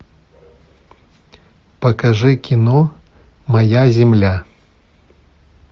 покажи кино моя земля